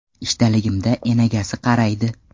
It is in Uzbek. Ishdaligimda enagasi qaraydi.